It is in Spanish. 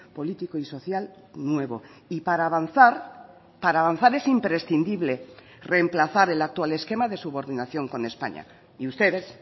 político y social nuevo y para avanzar para avanzar es imprescindible remplazar el actual esquema de subordinación con españa y ustedes